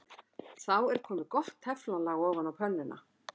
Þá er komið gott teflon-lag ofan á pönnuna.